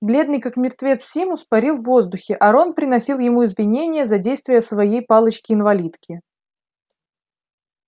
бледный как мертвец симус парил в воздухе а рон приносил ему извинения за действия своей палочки-инвалидки